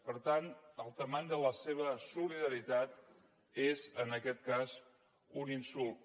per tant la mida de la seva solidaritat és en aquest cas un insult